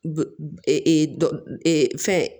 Fɛn